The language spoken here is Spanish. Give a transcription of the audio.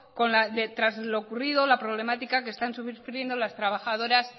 tras lo ocurrido la problemática que están sufriendo las trabajadoras